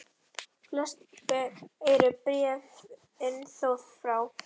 Flest eru bréfin þó frá